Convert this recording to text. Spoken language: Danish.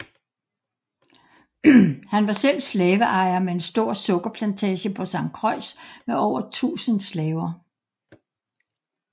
Han var selv slaveejer med en stor sukkerplantage på Sankt Croix med over tusind slaver